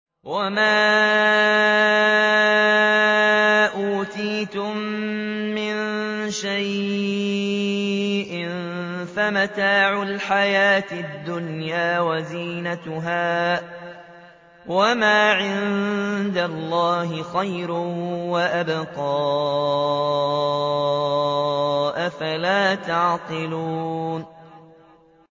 وَمَا أُوتِيتُم مِّن شَيْءٍ فَمَتَاعُ الْحَيَاةِ الدُّنْيَا وَزِينَتُهَا ۚ وَمَا عِندَ اللَّهِ خَيْرٌ وَأَبْقَىٰ ۚ أَفَلَا تَعْقِلُونَ